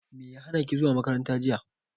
Me ya hanaki zuwa makaranta jiya.